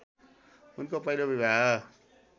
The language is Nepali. उनको पहिलो विवाह